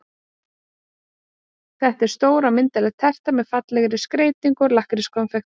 Þetta er stór og myndarleg terta með fallegri skreytingu úr lakkrískonfekti.